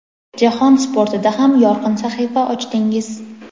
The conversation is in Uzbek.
jahon sportida ham yorqin sahifa ochdingiz.